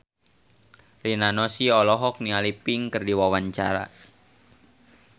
Rina Nose olohok ningali Pink keur diwawancara